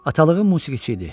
Atalığım musiqiçi idi.